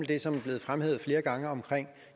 det som er blevet fremhævet flere gange omkring